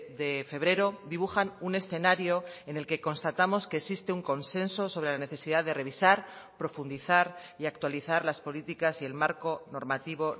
de febrero dibujan un escenario en el que constatamos que existe un consenso sobre la necesidad de revisar profundizar y actualizar las políticas y el marco normativo